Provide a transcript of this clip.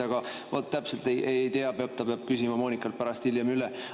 Aga vaat, täpselt ei tea, ta peab küsima Moonikalt pärast hiljem üle.